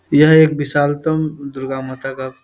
यह एक विशालतम दुर्गा माता का --